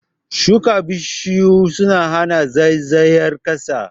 Shuka Bishiyu suna hana zaizayar ƙasa